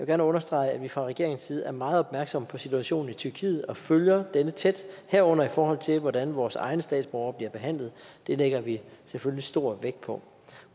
gerne understrege at vi fra regeringens side er meget opmærksomme på situationen i tyrkiet og følger denne tæt herunder i forhold til hvordan vores egne statsborgere bliver behandlet det lægger vi selvfølgelig stor vægt på